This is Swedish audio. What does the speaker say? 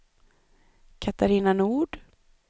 Catarina Nord